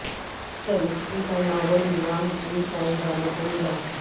chemistry کا Nobel انعام تین سائنس دانوں کو ملا